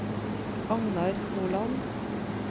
Agnar Holand